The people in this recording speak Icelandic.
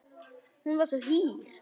Hún var svo hýr.